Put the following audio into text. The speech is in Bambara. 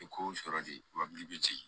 I ko sɔrɔ de wa bi